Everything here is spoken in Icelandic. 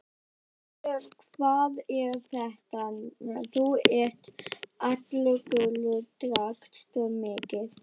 Heyrðu, hvað er þetta, þú ert allur gulur, drakkstu mikið?